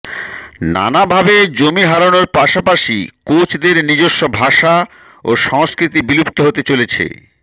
নানাভাবে জমি হারানোর পাশাপাশি কোচদের নিজস্ব ভাষা ও সংস্কৃতি বিলুপ্ত হতে চলেছে